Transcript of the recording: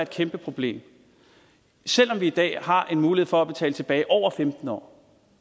kæmpeproblem selv om vi i dag har en mulighed for at betale tilbage over femten år